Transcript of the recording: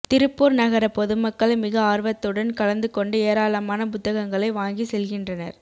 திருப்பூர் நகர பொதுமக்கள் மிக ஆர்வத்துடன் கலந்துகொண்டு ஏராளமான புத்தகங்களை வாங்கி செல்கின்றனர்